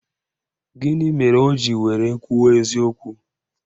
Gịnị mere o ji were kwuo eziokwu?